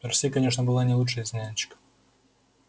присей конечно была не лучшей из нянек